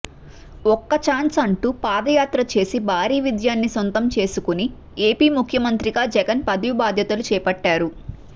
ఒక్క ఛాన్స్ అంటూ పాదయాత్ర చేసి భారీ విజయాన్ని సొంతం చేసుకుని ఏపీ ముఖ్యమంత్రిగా జగన్ పదవి బాధ్యతలు చేపట్టారు